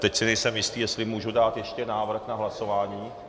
Teď si nejsem jistý, jestli můžu ještě dát návrh na hlasování?